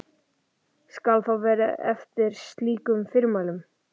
Skal þá farið eftir slíkum fyrirmælum.